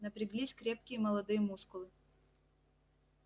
напряглись крепкие молодые мускулы